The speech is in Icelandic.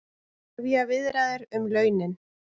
Hefja viðræður um launin